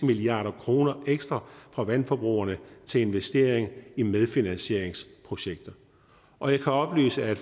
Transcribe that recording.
milliard kroner ekstra fra vandforbrugerne til investering i medfinansieringsprojekter og jeg kan oplyse at